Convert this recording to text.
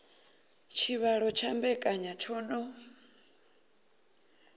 tshivhalo tsha mbekanya tsho no